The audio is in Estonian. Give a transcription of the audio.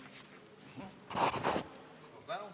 Suur tänu!